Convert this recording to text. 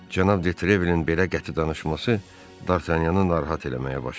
Cənab Detrevlin belə qəti danışması Dartanyanı narahat eləməyə başladı.